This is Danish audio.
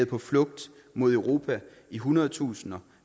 på flugt mod europa i hundredtusinder